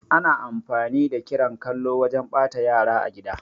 Ana amfani da kiran kallo wajan ɓata yara a gida